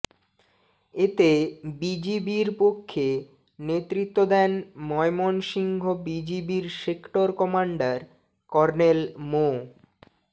এতে বিজিবির পক্ষে নেতৃত্ব দেন ময়মনসিংহ বিজিবির সেক্টর কমান্ডার কর্নেল মো